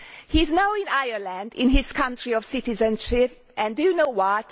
He is now in Ireland, in his country of citizenship, and do you know what?